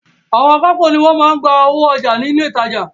Àwọn akápò ni wọ́n máa ń gba owó ọjà ní ilé ìtajà.